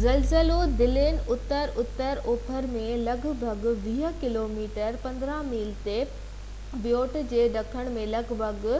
زلزلو دلن اتر-اتر اوڀر ۾ لڳ ڀڳ 20 ڪوميٽر 15 ميل تي، ۽ بيوٽ جي ڏکڻ ۾ لڳ ڀڳ